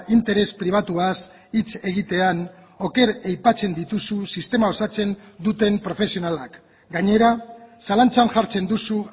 interes pribatuaz hitz egitean oker aipatzen dituzu sistema osatzen duten profesionalak gainera zalantzan jartzen duzu